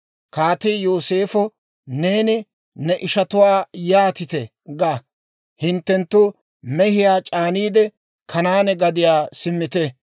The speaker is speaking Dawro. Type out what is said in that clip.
Kaatii Yooseefo, «Neeni ne ishatuwaa yaatite ga; ‹Hintte mehiyaa c'aaniide, Kanaane gadiyaa simmite;